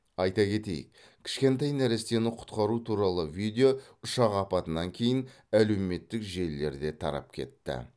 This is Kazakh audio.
айта кетейік кішкентай нәрестені құтқару туралы видео ұшақ апатынан кейін әлеуметтік желілерде тарап кетті